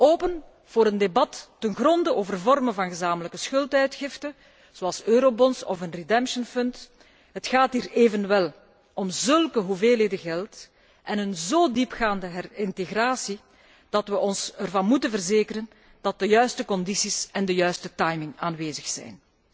Open voor een debat ten gronde over vormen van gezamenlijke schulduitgifte, zoals eurobonds of een redemption fund Het gaat hier evenwel om zulke hoeveelheden geld en een zo diepgaande herintegratie, dat we ons ervan moeten verzekeren dat de juiste condities en de juiste timing aanwezig zijn.